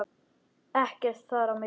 Ekkert þar á milli.